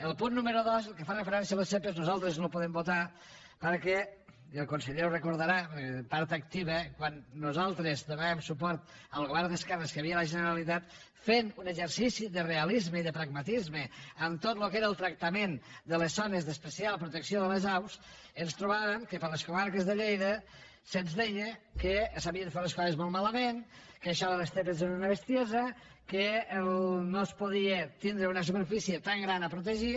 el punt número dos el que fa referència a les zepa nosaltres no el podem votar perquè i el conseller ho recordarà perquè n’era part activa quan nosaltres donàvem suport al govern d’esquerres que hi havia a la generalitat fent un exercici de realisme i de pragmatisme en tot lo que era el tractament de les zones d’especial protecció de les aus ens trobàvem que per les comarques de lleida se’ns deia que s’havien fet les coses molt malament que això de les zepa era una bestiesa que no es podia tindre una superfície tan gran a protegir